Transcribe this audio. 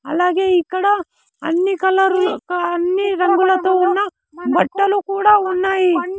అలాగే ఇక్కడ అన్ని కలర్లు అన్నీ రంగులతో ఉన్న బట్టలు కూడా ఉన్నాయి.